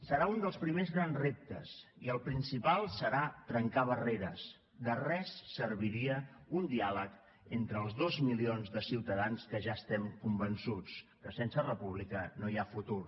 serà un dels primers grans reptes i el principal serà trencar barreres de res serviria un diàleg entre els dos milions de ciutadans que ja estem convençuts que sense república no hi ha futur